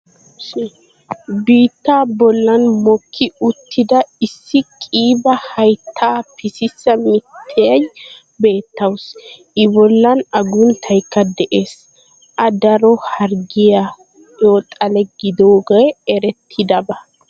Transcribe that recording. biittaa bollan mokki uttida issi qiiba hayttaa pississa mittiya beettawusu. i bollan aguntaykka de'ees a daro harggiyaqu xale gidiyoogee eretidaba.